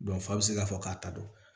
fa bɛ se k'a fɔ k'a ta don